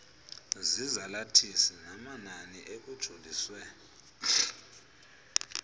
zezalathisi namanani ekujoliswe